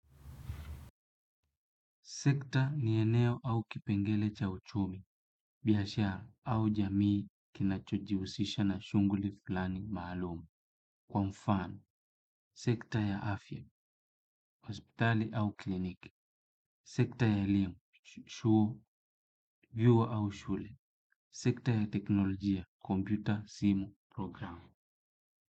Sekta ni eneo au kipengele cha uchumi, biashara au jamii kinachojihusisha na shunguli fulani maalum. Kwa mfano sekta ya afya, hospitali au kliniki, sekta ya elimu, vyuo au shule, sekta ya teknolojia, kompyuta, simu, programu.